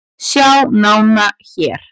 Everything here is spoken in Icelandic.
Sjá nána hér